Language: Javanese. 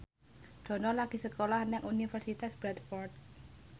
Dono lagi sekolah nang Universitas Bradford